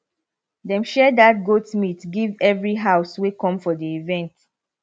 dem share that goat meat give every house wey come for the event